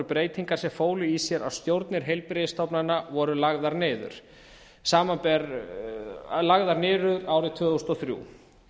breytingar sem fólu í sér að stjórnir heilbrigðisstofnana voru lagðar niður árið tvö þúsund og þrjú